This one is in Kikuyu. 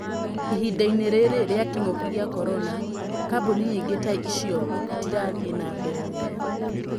Ihindainĩ rĩrĩ rĩa kĩng'ũki gĩa korona, kambuni nyingĩ ta icio itirathiĩ na mbere wega.